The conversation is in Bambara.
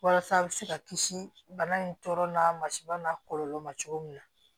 Walasa a bɛ se ka kisi bana in tɔɔrɔ na masiba n'a kɔlɔlɔ ma cogo min na